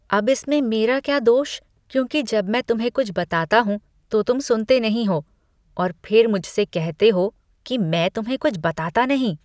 अब इसमें मेरा क्या दोष क्योंकि जब मैं तुम्हें कुछ बताता हूँ तो तुम सुनते नहीं हो और फिर मुझसे कहते हैं कि मैं तुम्हें कुछ बताता नहीं।